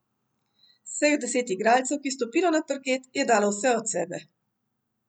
Vseh deset igralcev, ki je stopilo na parket, je dalo vse od sebe.